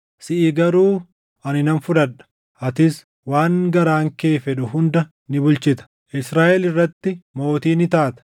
Siʼi garuu ani nan fudhadha; atis waan garaan kee fedhu hunda ni bulchita; Israaʼel irratti mootii ni taata.